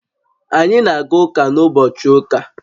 Anyị na-aga ụka n'ụbochị ụka